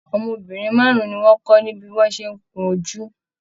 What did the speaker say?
Ọmọbìnrin márùn ní wọn kọ ní bí wọn ṣe n kún ojú.